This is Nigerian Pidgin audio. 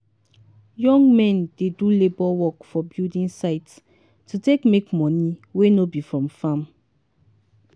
young men dey do labour work for building site to take make money wey no be from farm.